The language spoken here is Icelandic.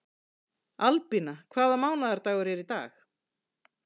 Albína, hvaða mánaðardagur er í dag?